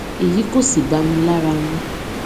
èyí kò sì bá mi lára mu